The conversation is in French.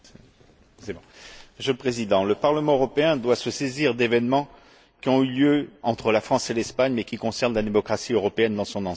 Monsieur le Président, le Parlement européen doit se saisir d'événements qui ont eu lieu entre la France et l'Espagne, mais qui concernent la démocratie européenne dans son ensemble.